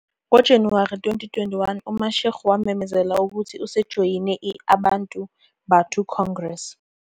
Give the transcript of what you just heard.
NgoJanuwari 2021, uMashego wamemezela ukuthi usejoyine i- Abantu Batho Congress.